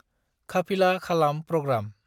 खाफिला खालाम प्रग्राम